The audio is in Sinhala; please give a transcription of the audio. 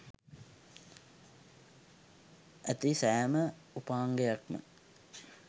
ඇති සෑම උපාංගයක්ම